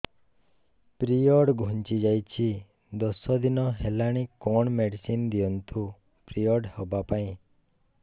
period ଘୁଞ୍ଚି ଯାଇଛି ଦଶ ଦିନ ହେଲାଣି କଅଣ ମେଡିସିନ ଦିଅନ୍ତୁ ପିରିଅଡ଼ ହଵା ପାଈଁ